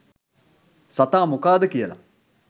සතා මොකාද කියලා